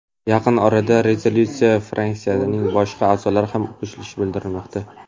Yaqin orada rezolyutsiyaga fraksiyaning boshqa a’zolari ham qo‘shilishi bildirilmoqda.